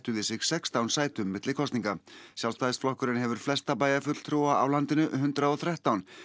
við sig sextán sætum milli kosninga Sjálfstæðisflokkurinn hefur flesta bæjarfulltrúa hundrað og þrettán